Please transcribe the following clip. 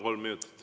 Kolm minutit.